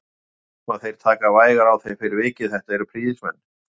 Ég er viss um að þeir taka vægar á þér fyrir vikið, þetta eru prýðismenn